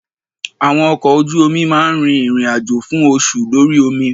Àwọn ọkọ̀ ojú omi máa ń rin ìrìn àjò fún oṣù lórí omi.